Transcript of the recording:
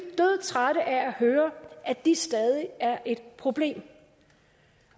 dødtrætte af at høre at de stadig er et problem